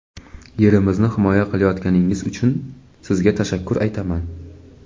yerimizni himoya qilayotganingiz uchun sizga tashakkur aytaman.